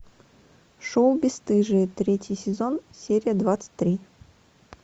шоу бесстыжие третий сезон серия двадцать три